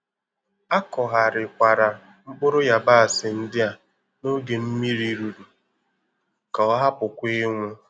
Akọgharikwara mkpụrụ yabasị ndị a n'oge mmiri rụrụ ka ọ hapụ kwa inwu